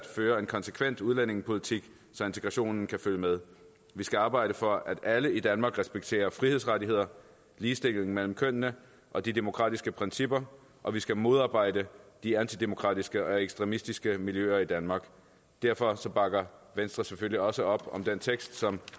føre en konsekvent udlændingepolitik så integrationen kan følge med vi skal arbejde for at alle i danmark respekterer frihedsrettigheder ligestilling mellem kønnene og de demokratiske principper og vi skal modarbejde de antidemokratiske og ekstremistiske miljøer i danmark derfor bakker venstre selvfølgelig også op om den tekst som